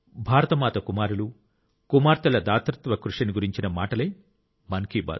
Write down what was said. భారత మాత కుమారులు కుమార్తెల దాతృత్వ కృషిని గురించిన మాటలే మన్ కీ బాత్